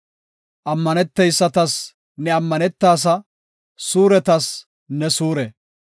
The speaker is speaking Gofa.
Ammaneteysatas ne ammanetaasa; suuretas ne suure.